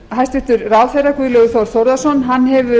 hæstvirtur ráðherra guðlaugur þór þórðarson hefur